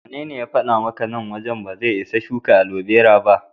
Wanene ya faɗa maka nan wajen ba zai isa a shuka alobera ba?